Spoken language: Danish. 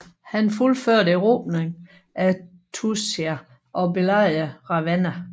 Han fuldførte erobringen af Tuscia og belejrede Ravenna